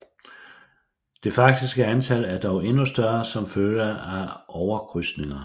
Det faktiske antal er dog endnu større som følge af overkrydsninger